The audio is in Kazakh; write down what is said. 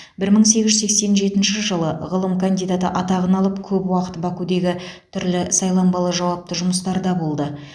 бір мың сегіз жүз сексен жетінші жылы ғылым кандидаты атағын алып көп уақыт бакудегі түрлі сайланбалы жауапты жұмыстарда болды